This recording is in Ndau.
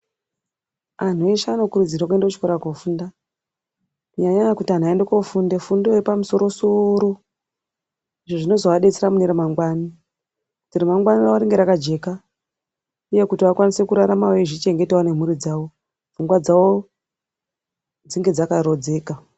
Antu eshe anokurudzirwa kuti aende kuchikora koofunda, kunyanyanyanya kuti antu aende koofunde fundo yepamusorosoro. Izvo zvinozoadetsera mune ramangwani, kuti ramangwani ravo ringe rakajeka, uye kuti vakwanise kurarama veizvichengetawo nemhuri dzavo. Pfungwa dzavo dzinge dzakarodzeka.